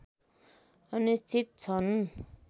अनिश्चित छन्